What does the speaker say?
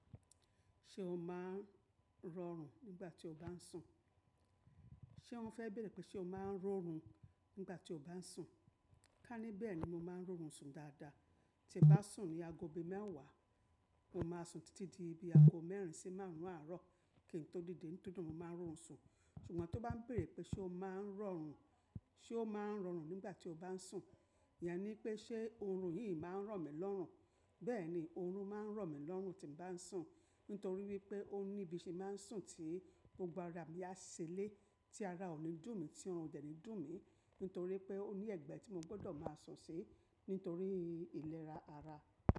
Ṣé o máa ń rọrùn nígbà tí o bá ń sùn? Ṣé wọ́n fẹ́ bèrè pé ṣé o máa ń rọrùn nígbà tí o bá ń sùn? Ká níbẹ̀ ni mo máa ń rọrùn sùn dáadáa. Tí n bá sùn ní ago òbí mẹ́wàá, mo máa sùn títí di ibi ago mẹ́rin sí márùn ún àárọ̀ kí n tó dìde nítòótò mo máa rọrùn sùn. Ṣùgbọ́n tó bá ń bèrè pé ṣé o máa ń rọrùn, ṣé o máa ń rọrùn nígbà tí o bá ń sùn? Iyen ní pé ṣé orun yìí máa ń ràn mí lọ́rùn? Bẹ́ẹ̀ni, orun máa ń ràn mí lọ́rùn tí mo bá ń sùn. Nítorí wípé ó ní ibi tí e máa ń sùn tí gbogbo ara mi á si le tí ara ò ní dùn mí tí ọrùn ò dẹ̀ ní dùn mí, nítorí pé ó ní ẹ̀gbẹ́ tí mo gbọ́dọ̀ máa sùn sí nítorí ìlera ara.